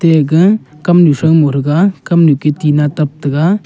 egah kamnu shui moh thaga kamnu ki tinna tab taga.